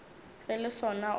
ge le sona o ka